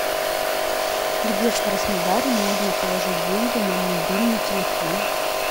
где в краснодаре можно положить деньги на мобильный телефон